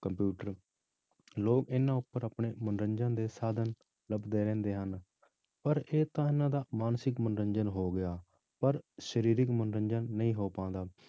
Computer ਲੋਕ ਇਹਨਾਂ ਉੱਪਰ ਆਪਣੇ ਮਨੋਰੰਜਨ ਦੇ ਸਾਧਨ ਲੱਭਦੇ ਰਹਿੰਦੇ ਹਨ, ਪਰ ਇਹ ਤਾਂ ਇਹਨਾਂ ਦਾ ਮਾਨਸਿਕ ਮਨੋਰੰਜਨ ਹੋ ਗਿਆ ਪਰ ਸਰੀਰਕ ਮਨੋਰੰਜਨ ਨਹੀਂ ਹੋ ਪਾਉਂਦਾ।